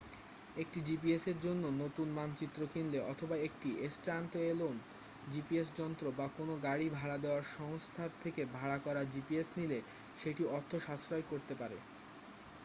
একটি জিপিএস এর জন্য নতুন মানচিত্র কিনলে অথবা একটি স্ট্যাণ্ডএলোন জিপিএস যন্ত্র বা কোনো গাড়ি ভাড়া দেওয়ার সংস্থার থেকে ভাড়া করা জিপিএস নিলে সেটি অর্থ সাশ্রয় করতে পারে